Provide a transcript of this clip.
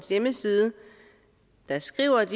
hjemmeside skriver